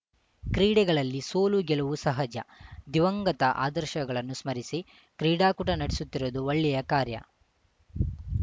ಕ್ರೀಡೆಗಳಲ್ಲಿ ಸೋಲುಗೆಲುವು ಸಹಜ ದಿವಂಗತ ಆದರ್ಶಗಳನ್ನು ಸ್ಮರಿಸಿ ಕ್ರೀಡಾಕೂಟ ನಡೆಸುತ್ತಿರುವುದು ಒಳ್ಳೆಯ ಕಾರ್ಯ